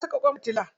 Ana saka ƙwan fitila.